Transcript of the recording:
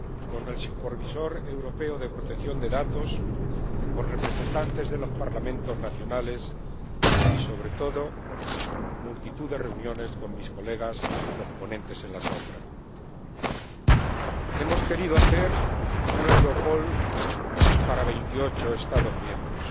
con el Supervisor Europeo de Protección de Datos, con representantes de los Parlamentos nacionales y, sobre todo, multitud de reuniones con mis colegas los ponentes alternativos. Hemos querido hacer una Europol para veintiocho Estados miembros